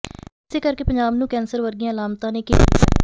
ਇਸੇ ਕਰਕੇ ਪੰਜਾਬ ਨੂੰ ਕੈਂਸਰ ਵਰਗੀਆਂ ਅਲਾਮਤਾਂ ਨੇ ਘੇਰ ਲਿਆ ਹੈ